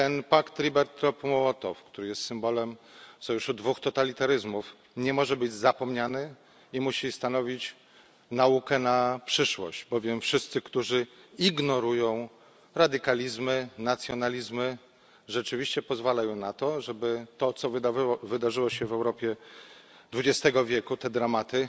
Pakt Ribbentrop Mołotow, który jest symbolem sojuszu dwóch totalitaryzmów, nie może być zapomniany i musi stanowić naukę na przyszłość, bowiem wszyscy, którzy ignorują radykalizmy, nacjonalizmy rzeczywiście pozwalają na to, żeby to co wydarzyło się w Europie dwudziestego wieku, te dramaty